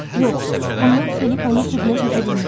Yox, bunlar Filippanın südünə çata bilməz.